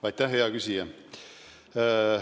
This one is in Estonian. Aitäh, hea küsija!